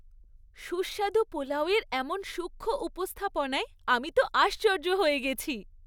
সুস্বাদু পোলাও এর এমন সূক্ষ্ম উপস্থাপনায় আমি তো আশ্চর্য হয়ে গেছি।